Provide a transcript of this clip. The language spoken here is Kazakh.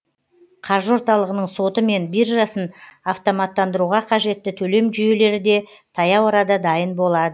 қаржы орталығының соты мен биржасын автоматтандыруға қажетті төлем жүйелері де таяу арада дайын болады